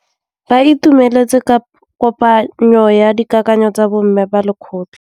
Ba itumeletse kôpanyo ya dikakanyô tsa bo mme ba lekgotla.